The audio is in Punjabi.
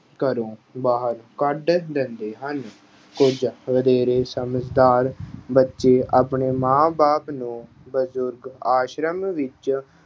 ਘਰੋਂ ਬਾਹਰ ਕੱਢ ਦਿੰਦੇ ਹਨ। ਕੁਝ ਵਧੇਰੇ ਸਮਝਦਾਰ ਬੱਚੇ ਆਪਣੇ ਮਾਂ-ਬਾਪ ਨੂੰ ਬਜ਼ੁਰਗ ਆਸ਼ਰਮ ਵਿੱਚ